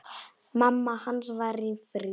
Mamma hans var í fríi.